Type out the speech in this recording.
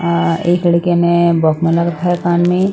एक लड़के ने बॉक्स में लगा हैं कान में --